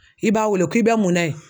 I b'a wele k'i bɛ mun na yen?